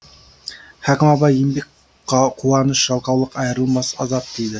хәкім абай еңбек қуаныш жалқаулық айырылмас азап дейді